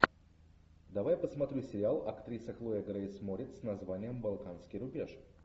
давай посмотрю сериал актриса хлоя грейс морец с названием балканский рубеж